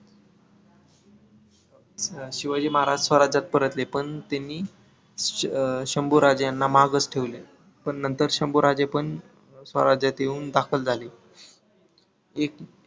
शिवाजी महाराज स्वराज्यात परतले पण त्यांनी शंभू राज्यांना माघच ठेवले. पण नंतर शंभू राजे पण स्वराज्यात येऊन दाखल झाले. एक